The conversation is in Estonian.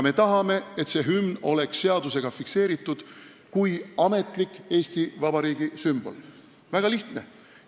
Me tahame, et hümn oleks seadusega fikseeritud kui ametlik Eesti Vabariigi sümbol – väga lihtne!